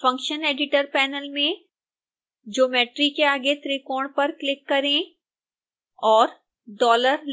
function editor panel में geometry के आगे त्रिकोण पर क्लिक करें और